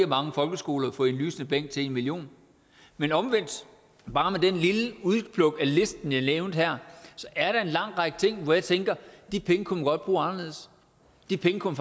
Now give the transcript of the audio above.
mange folkeskoler for en lysende bænk til en million men omvendt bare med det lille udpluk af listen som jeg nævnte her er der en lang række ting hvor jeg tænker at de penge kunne man godt bruge anderledes de penge kunne